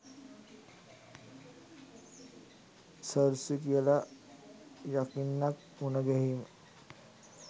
සර්සි කියලා යකින්නක් මුණගැහීම.